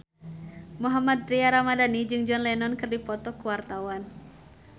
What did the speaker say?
Mohammad Tria Ramadhani jeung John Lennon keur dipoto ku wartawan